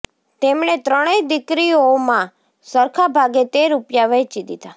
તેમણે ત્રણેય દીકરીઓમાં સરખા ભાગે તે રૂપિયા વહેંચી દીધા